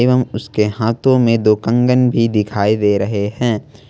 एवं उसके हाथों में दो कंगन भी दिखाई दे रहे हैं।